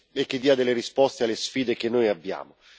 e che dia delle risposte alle sfide che noi abbiamo.